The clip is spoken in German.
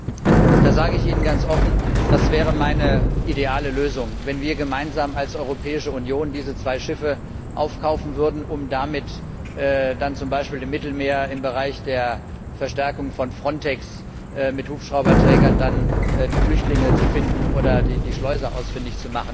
Da sage ich Ihnen ganz offen Das wäre meine ideale Lösung, wenn wir gemeinsam als Europäische Union diese zwei Schiffe aufkaufen würden, um damit dann zum Beispiel im Mittelmeer im Bereich der Verstärkung von Frontex mit Hubschrauberträgern die Flüchtlinge zu finden oder die Schleuser ausfindig zu machen.